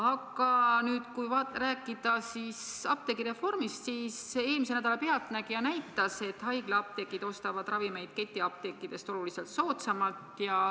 Aga kui nüüd rääkida apteegireformist, siis eelmise nädala "Pealtnägija" näitas, et haiglaapteegid ostavad ravimeid ketiapteekidest oluliselt soodsamalt.